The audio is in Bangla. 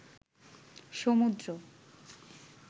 সমুদ্র